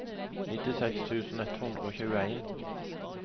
nittiseks tusen ett hundre og tjueen